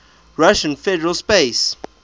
russian federal space